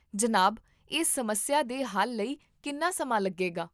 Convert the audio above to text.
ਜਨਾਬ, ਇਸ ਸਮੱਸਿਆ ਦੇ ਹੱਲ ਲਈ ਕਿੰਨਾ ਸਮਾਂ ਲੱਗੇਗਾ?